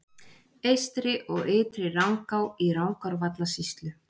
Eystri- og Ytri-Rangá í Rangárvallasýslu.